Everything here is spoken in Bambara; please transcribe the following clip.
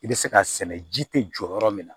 I bɛ se k'a sɛnɛ ji tɛ jɔ yɔrɔ min na